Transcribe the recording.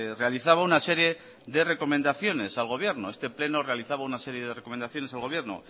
realizaba una serie de recomendaciones al gobierno este pleno realizaba una serie de recomendaciones al gobierno